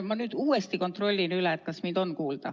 Ma nüüd uuesti kontrollin üle, kas mind on kuulda.